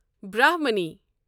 برٛہمنی